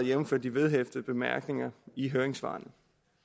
jævnfør de vedhæftede bemærkninger i høringssvarene